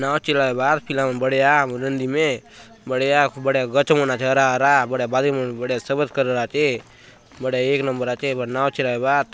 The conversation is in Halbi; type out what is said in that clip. नांव चलायबा आत पिला मन बढ़िया नदी में बढ़िया बढ़िया गच मन आचे हरा - हरा बढ़िया बाली मन बढ़िया सफ़ेद कलर आचे बढ़िया एक नंबर आचे नांव चलाय बा आत।